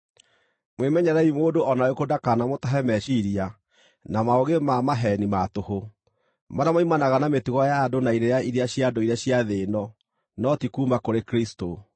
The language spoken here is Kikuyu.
Mwĩmenyererei mũndũ o na ũrĩkũ ndakanamũtahe meciiria na maũũgĩ ma maheeni ma tũhũ, marĩa moimanaga na mĩtugo ya andũ na irĩra iria cia ndũire cia thĩ ĩno, no ti kuuma kũrĩ Kristũ.